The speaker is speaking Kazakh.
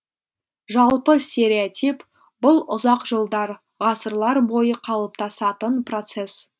жалпы стереотип бұл ұзақ жылдар ғасырлар бойы қалыптасатын процесс